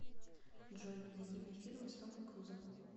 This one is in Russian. джой найди мне фильмы с томом крузом